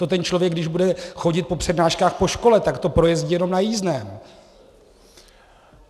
To ten člověk, když bude chodit po přednáškách po škole, tak to projezdí jenom na jízdném.